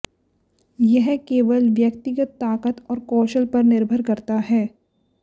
यह केवल व्यक्तिगत ताकत और कौशल पर निर्भर करता है